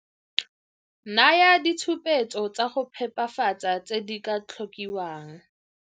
Naya ditshupetso tsa go phepafatsa tse di ka tlhokiwang.